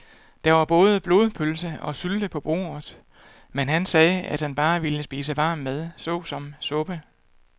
Der var både blodpølse og sylte på bordet, men han sagde, at han bare ville spise varm mad såsom suppe.